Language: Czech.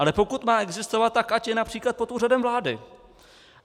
Ale pokud má existovat, tak ať je například pod Úřadem vlády.